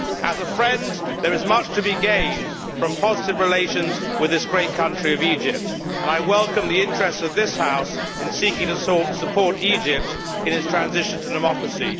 As a friend, there is much to be gained from positive relations with this great country of Egypt, and I welcome the interest of this House in seeking to support Egypt in its transition to democracy.